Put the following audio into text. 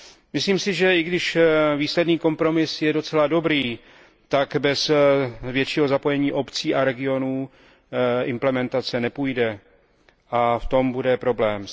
Myslím si, že i když výsledný kompromis je docela dobrý, tak bez většího zapojení obcí a regionů implementace nepůjde. A v tom bude problém.